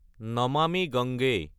Namami Gange